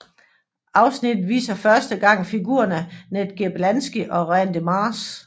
Afsnittet viser første gang figurerne Ned Gerblansky og Randy Marsh